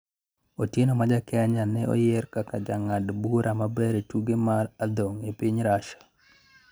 Otieno ma ja Kenya ne oyier kaka jang'ad bura maber e tuke mag adhong' e piny Russia